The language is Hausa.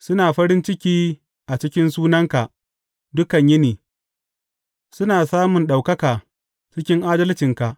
Suna farin ciki a cikin sunanka dukan yini; suna samun ɗaukaka cikin adalcinka.